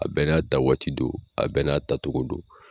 A bɛɛ n'a ta waati do a bɛɛ n'a tatogo do.